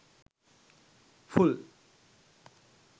full